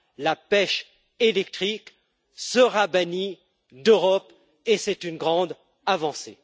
La pêche électrique sera bannie de l'Europe et c'est une grande avancée.